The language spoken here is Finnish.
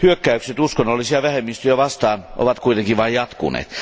Hyökkäykset uskonnollisia vähemmistöjä vastaan ovat kuitenkin vain jatkuneet.